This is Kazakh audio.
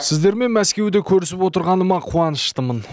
сіздермен мәскеуде көрісіп отырғаныма қуаншытымын